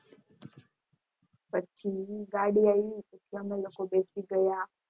પછી ગાડી અયવી પછી અમે લોકો બેસી ગયા